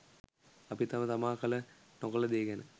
අපි තම තමා කළ නොකළ දේ ගැන